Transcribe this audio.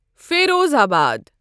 Firozabad